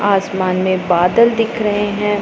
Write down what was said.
आसमान में बदल दिख रहे हैं।